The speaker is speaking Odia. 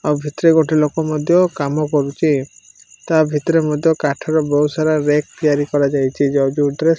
ଆଉ ଭିତିରେ ଗୋଟେ ଲୋକ ମଧ୍ୟ କାମ କରୁଚି ତା ଭିତିରେ ମଧ୍ୟ କାଠ ର ବହୁତ ସାରା ରେକ ତିଆରି କରା ଯାଇଚି ଯୋ ଯୋଉଥିରେ --